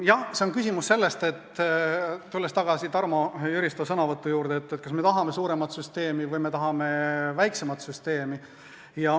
Jah, see on küsimus sellest – tulles tagasi Tarmo Jüristo sõnavõtu juurde –, kas me tahame suuremat süsteemi või me tahame väiksemat süsteemi.